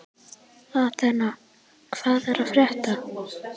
Athena, hvað er að frétta?